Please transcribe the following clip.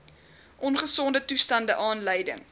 ongesonde toestande aanleiding